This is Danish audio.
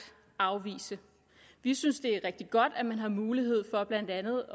afvise vi synes det er rigtig godt at man har mulighed for blandt andet